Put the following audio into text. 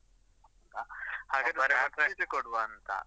Bracelet ಕೊಡ್ವಾ ಅಂತ?